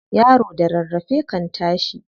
Yaro da rarrafe kan tashi.